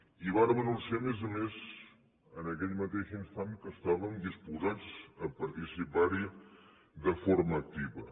i vàrem anunciar a més a més en aquell mateix instant que estàvem disposats a participar hi de forma activa